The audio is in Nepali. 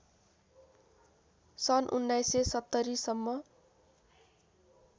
सन् १९७० सम्म